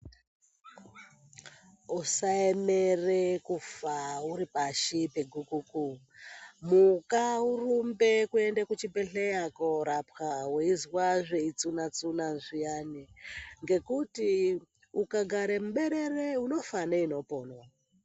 Usaemere kufa uripashi pegukuku. Muka urumbe kuenda kuchibhedhleya koorapwa weizwa zveitsuna-tsuna zviyani. Ngekuti ukagare muberere unofa neinoponwa.